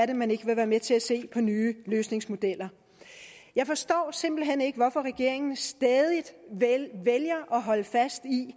man ikke være med til at se på nye løsningsmodeller jeg forstår simpelt hen ikke hvorfor regeringen stædigt vælger at holde fast i